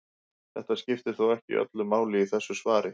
Þetta skiptir þó ekki öllu máli í þessu svari.